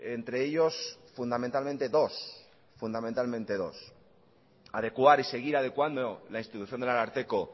entre ellos fundamentalmente dos fundamentalmente dos adecuar y seguir adecuando la institución del ararteko